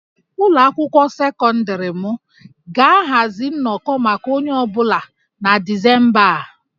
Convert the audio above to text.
Ụlọ akwụkwọ sekọndịrị m ga-ahazi nnọkọ maka onye ọ bụla na Disemba a